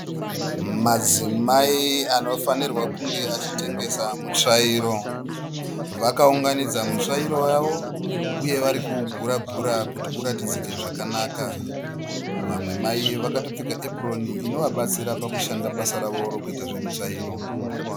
Madzimai anofanirwa kunge achitengesa mitsvairo. Vakaunganidza mitsvairo yavo uye varikuuguragura kuti uratidzike zvakanaka. Vamwe mai vakatopfeka epuroni inovabatsira pakushanda basa ravo rekuita zvemitsvairo.